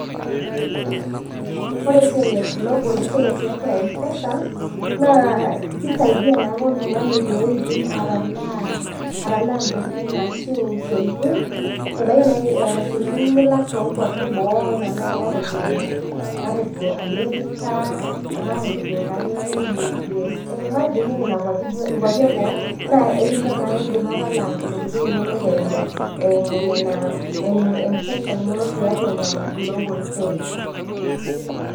Ore esiai e global pay tiatua mpesa naa keisaidia naake oltungani peyieedim atalaa intokitin ashuu isiatin, ebaiki naaji eeta isiatin niyieu nilak toonkuapi eboo anaa nnaji matejo American, matejo taa akeyie anaa USA nekakuapi eboo naa ekincho naa indima talaa eimu nena eimu mpesa ino tiatua tiatua ina global pay